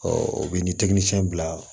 u bɛ ni bila